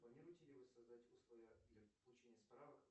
планируете ли вы создать условия для получения справок